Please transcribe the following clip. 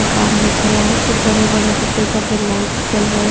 मकान दिख रहा है कुछ बड़े बड़े सफेद सफेद लाइट्स जल रहे हैं।